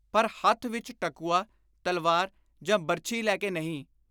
ਪਰ ਹੱਥ ਵਿਚ ਟਕੁਆ, ਤਲਵਾਰ ਜਾਂ ਬਰਛੀ ਲੈ ਕੇ ਨਹੀਂ,